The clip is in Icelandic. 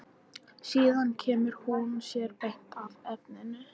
Síðan kemur hún sér beint að efninu.